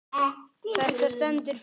Þetta stendur fyrir